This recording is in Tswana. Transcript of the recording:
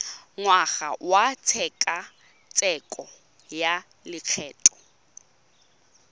ngwaga wa tshekatsheko ya lokgetho